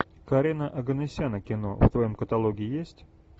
карена оганесяна кино в твоем каталоге есть